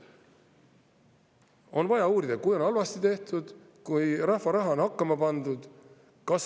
On vaja uurida, kui on halvasti tehtud, kui rahva raha on hakkama pandud …